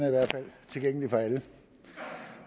tilgængelig for alle